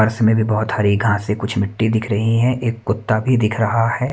पास में भी बहोत हरी घासे कुछ मिट्टी दिख रही हैं एक कुत्ता भी दिख रहा है।